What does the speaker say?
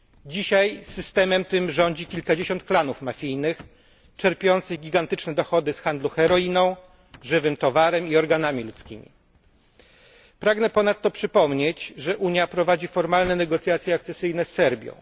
Dzisiaj systemem tym rządzi kilkadziesiąt klanów mafijnych czerpiących gigantyczne dochody z handlu heroiną, żywym towarem i organami ludzkimi. Pragnę ponadto przypomnieć, że Unia prowadzi formalne negocjacje akcesyjne z Serbią.